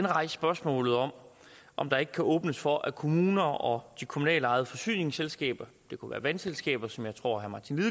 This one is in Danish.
rejst spørgsmålet om om der ikke kan åbnes for at kommuner og de kommunalt ejede forsyningsselskaber det kunne være vandselskaber som jeg tror herre martin